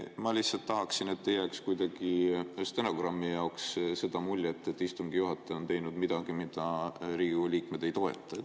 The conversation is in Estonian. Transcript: Ma lihtsalt tahan, et ei jääks kuidagi stenogrammi seda muljet, et istungi juhataja on teinud midagi, mida Riigikogu liikmed ei toeta.